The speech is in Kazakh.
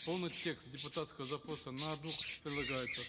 полный текст депутатского запроса на двух прилагается